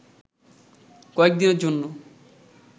কয়েক দিনের জন্য